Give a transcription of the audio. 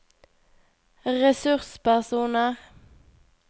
ressurspersoner